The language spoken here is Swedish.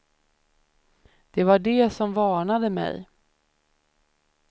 Det var de som varnade mig.